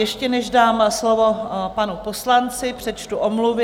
Ještě než dám slovo panu poslanci, přečtu omluvy.